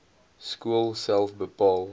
skool self bepaal